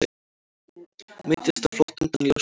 Meiddist á flótta undan ljósmyndara